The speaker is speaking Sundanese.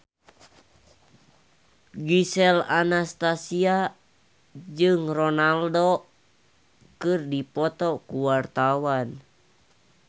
Gisel Anastasia jeung Ronaldo keur dipoto ku wartawan